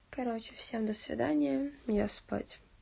короче всё до свидания я спать